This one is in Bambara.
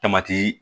Tamati